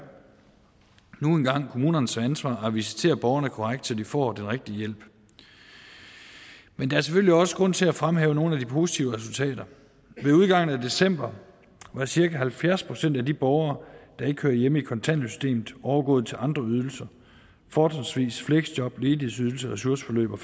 kommunernes ansvar at visitere borgerne korrekt så de får den rigtige hjælp men der er selvfølgelig også grund til at fremhæve nogle af de positive resultater ved udgangen af december var cirka halvfjerds procent af de borgere der ikke hører hjemme i kontanthjælpssystemet overgået til andre ydelser fortrinsvis fleksjob ledighedsydelse ressourceforløb og